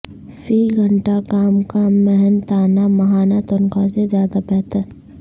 فی گھنٹہ کام کا محنتانہ ماہانہ تنخواہ سے زیادہ بہتر